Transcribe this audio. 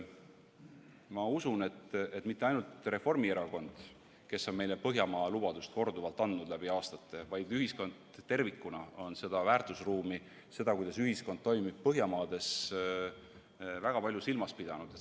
Ma usun, et mitte ainult Reformierakond, kes on meile läbi aastate korduvalt andnud Põhjamaa-lubadust, vaid ühiskond tervikuna on seda väärtusruumi, seda, kuidas ühiskond toimib Põhjamaades, väga palju silmas pidanud.